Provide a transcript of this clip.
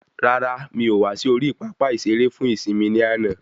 Rárá, mí o wá sí orí pápá ìsere fún ìsimi ni àna